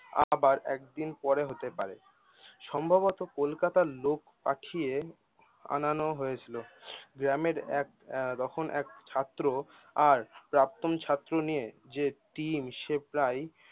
আবার একদিন পরে হতে পারে। সম্ভবত কলকাতায় লোক পাঠিয়ে আনানো হয়েছিল। গ্রামের এক আহ তখন এক ছাত্র আর প্রাক্তন ছাত্র নিয়ে যে টিম সে প্রায়